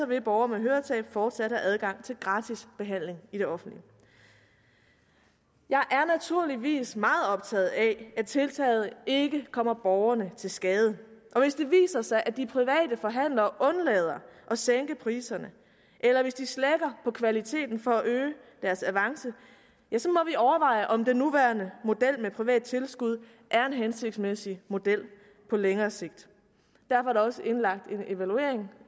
vil borgere med høretab fortsat have adgang til gratis behandling i det offentlige jeg er naturligvis meget optaget af at tiltaget ikke kommer borgerne til skade og sig at de private forhandlere undlader at sænke priserne eller hvis de slækker på kvaliteten for at øge deres avance så må vi overveje om den nuværende model med private tilskud er en hensigtsmæssig model på længere sigt derfor er der også indlagt en evaluering